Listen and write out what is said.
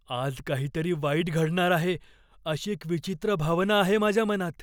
आज काहीतरी वाईट घडणार आहे अशी एक विचित्र भावना आहे माझ्या मनात.